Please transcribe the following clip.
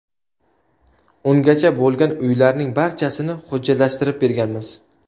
Ungacha bo‘lgan uylarning barchasini hujjatlashtirib berganmiz.